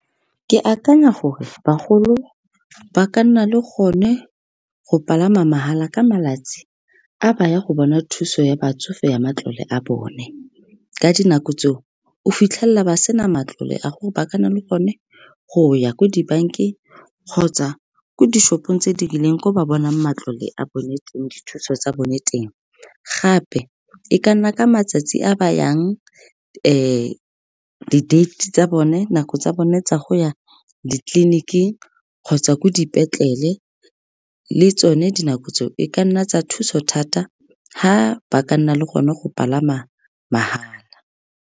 Ke akanya gore bagolo ba ka nna le gone go palama mahala ka malatsi a ba ya go bona thuso ya batsofe, ya matlole a bone. Ka dinako tseo, o fitlhelela ba sena matlole a gore ba kana le gone go ya ko dibankeng kgotsa ko di-shop-ong tse di rileng ko ba bonang matlole a bone teng, dithuso tsa bone teng. Gape, e ka nna ka matsatsi a ba yang di-date tsa bone, nako tsa bone tsa go ya ditleliniking kgotsa ko dipetlele. Le tsone dinako tse o e ka nna tsa thuso thata ga ba ka nna le gone go palama mahala.